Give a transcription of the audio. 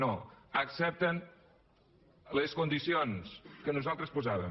no accepten les condicions que nosaltres posàvem